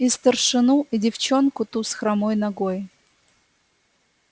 и старшину и девчонку ту с хромой ногой